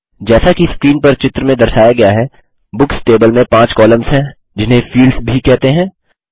जैसा कि स्क्रीन पर चित्र में दर्शाया गया है बुक्स टेबल में 5 कॉलम्स हैं जिन्हें फील्ड्स भी कहते हैं